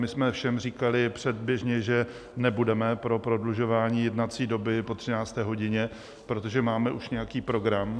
My jsme všem říkali předběžně, že nebudeme pro prodlužování jednací doby po 13. hodině, protože máme už nějaký program.